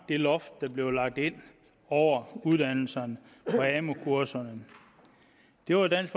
det loft der blev lagt ind over uddannelserne og amu kurserne det var dansk